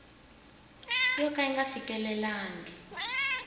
yo ka yi nga fikelelangi